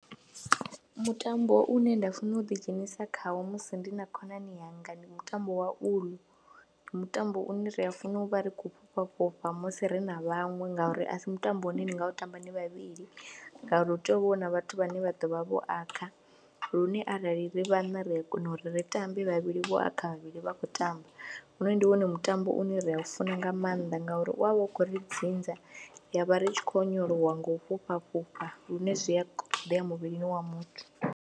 Mutambo une nda funa u ḓidzhenisa khawo musi ndi na khonani yanga ndi mutambo wa uḽu, mutambo une ri a funa u vha ri khou fhufha fhufha musi ri na vhaṅwe ngauri a si mutambo une ni nga u tamba ni vhavhili ngauri hu tea u vha hu na vhathu vhane vha ḓo vha vho akha lune arali ri vhaṋa ri a kona uri ri tambe vhavhili vho akha vhavhili vha khou tamba, hoyu ndi wone mutambo une ri a funa nga maanḓa ngauri u vha u khou ri dzinza ya vha ri tshi khou onyolowa nga u fhufha fhufha lune zwi a ṱoḓea muvhilini wa muthu.